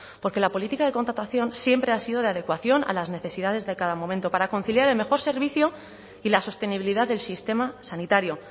porque la política de contratación siempre ha sido de adecuación a las necesidades de cada momento para conciliar el mejor servicio y la sostenibilidad del sistema sanitario